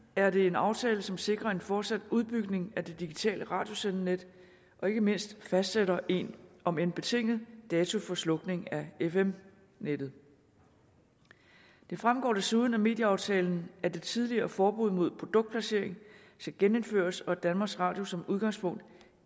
er det en aftale som sikrer en fortsat udbygning af det digitale radiosendenet og ikke mindst fastsætter en omend betinget dato for slukning af fm nettet det fremgår desuden af medieaftalen at det tidligere forbud mod produktplacering skal genindføres og at danmarks radio som udgangspunkt